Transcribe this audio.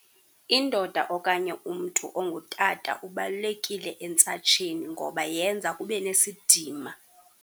Indoda okanye umntu ongutata ubalulekile entsatsheni ngoba yenza kube nesidima.